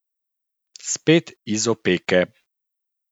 Spet iz opeke.